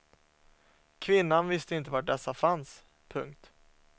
Kvinnan visste inte var dessa fanns. punkt